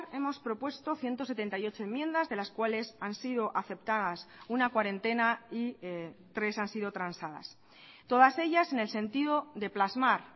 hemos propuesto ciento setenta y ocho enmiendas de las cuales han sido aceptadas una cuarentena y tres han sido transadas todas ellas en el sentido de plasmar